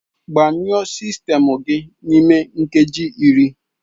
Gbanyụọ sistemụ gị n'ime nkeji iri!